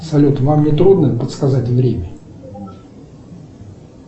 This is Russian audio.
салют вам не трудно подсказать время